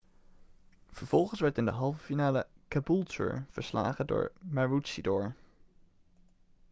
vervolgens werd in de halve finale caboolture verslagen door maroochydore